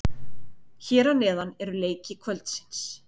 Hér að neðan eru leiki kvöldsins.